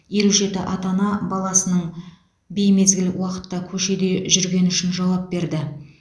елу жеті ата ана баласының беймезгіл уақытта көшеде жүргені үшін жауап берді